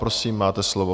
Prosím, máte slovo.